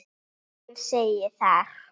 Hann segir þar